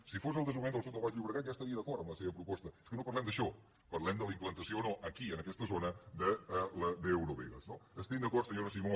si fos del desenvolupament del sud del baix llobregat ja estaria d’acord amb la seva proposta és que no parlem d’això parlem de la implantació o no aquí en aquesta zona d’eurovegas no estem d’acord senyora simó